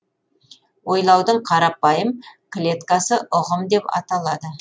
ойлаудың қарапайым клеткасы ұғым деп аталады